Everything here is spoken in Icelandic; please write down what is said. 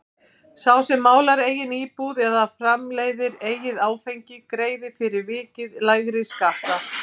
Sá sem málar eigin íbúð eða framleiðir eigið áfengi greiðir fyrir vikið lægri skatta.